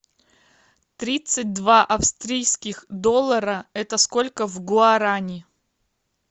тридцать два австрийских доллара это сколько в гуарани